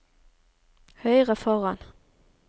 høyre foran